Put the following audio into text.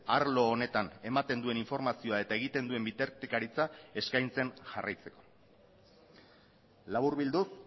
arlo honetan ematen duen informazioa eta egiten duen bitartekaritza eskaintzen jarraitzeko laburbilduz